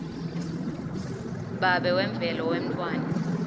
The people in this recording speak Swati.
babe wemvelo wemntfwana